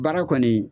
Baara kɔni